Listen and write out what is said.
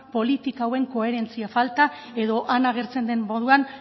politika hauen koherentzia falta edo han agertzen den moduan